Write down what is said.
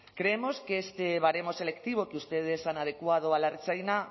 creemos que este baremo selectivo que ustedes han adecuado a la ertzaintza